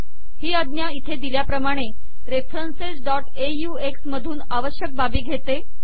ही आज्ञा इथे दिल्याप्रमाणे referencesऑक्स मधून आवश्यक बावे घेते